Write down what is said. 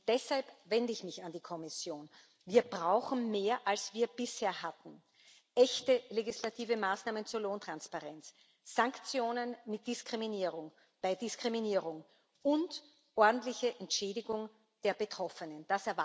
Deshalb wende ich mich an die Kommission Wir brauchen mehr, als wir bisher hatten echte legislative Maßnahmen zur Lohntransparenz, Sanktionen bei Diskriminierung und ordentliche Entschädigung der Betroffenen.